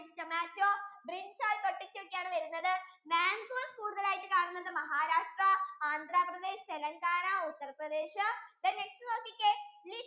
tomatto, brinjal, pottato ഒക്കെ ആണ് വരുന്നത് magoes കൂടുതൽ ആയിട്ടു കാണുന്നത് Maharashtra, AndraPradesh, Telengana, Uttarpradeshthen next നോക്കിക്കേ